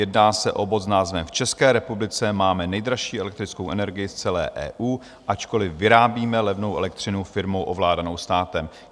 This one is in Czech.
Jedná se o bod s názvem V České republice máme nejdražší elektrickou energii v celé EU, ačkoliv vyrábíme levnou elektřinu firmou ovládanou státem.